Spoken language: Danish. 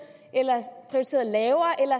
lavere eller